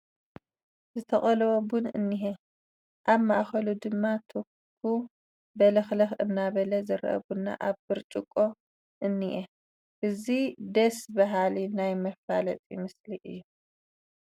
ዝተቐለወ ቡን እኒሀ፡፡ ኣብ ማእኸሉ ድማ ትኩ በለኽለኽ እናበለ ዝርአ ቡና ኣብ ብርጭቆ እኒአ፡፡ እዚ ደስ በሃሊ ናይ መፋለጢ ምስሊ እዩ፡፡